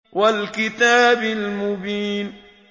وَالْكِتَابِ الْمُبِينِ